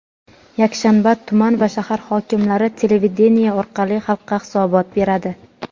yakshanba tuman va shahar hokimlari televideniye orqali xalqqa hisobot beradi.